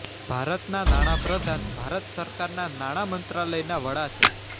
ભારતના નાણાં પ્રધાન ભારત સરકારના નાણા મંત્રાલયના વડા છે